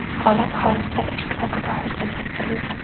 Holat xolislar ishtirokida hujjatlashtirilgan.